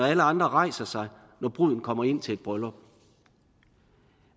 alle andre rejser sig når bruden kommer ind til et bryllup